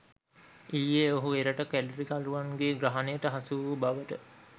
ඊයේ ඔහු එරට කැරලිකරුන්ගේ ග්‍රහණයට හසුවූ බව